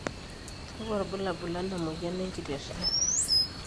kakua irbulabol lena moyian enkiteria?